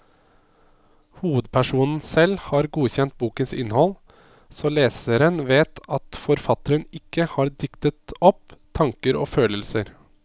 Hovedpersonen selv har godkjent bokens innhold, så leseren vet at forfatteren ikke har diktet opp tanker og følelser.